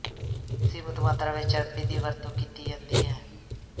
ਸੀਮਤ ਮਾਤਰਾ ਵਿੱਚ ਚਰਬੀ ਦੀ ਵਰਤੋਂ ਕੀਤੀ ਜਾਂਦੀ ਹੈ